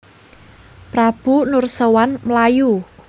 Prabu Nursèwan mlayu